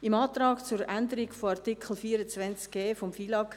Im Antrag zur Änderung von Artikel 24 Buchstabe